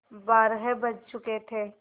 बारह बज चुके थे